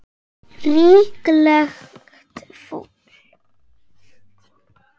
Líklegt fúl.